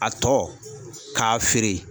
A tɔ k'a feere.